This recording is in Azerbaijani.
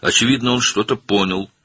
Aydındır ki, o nəsə başa düşdü.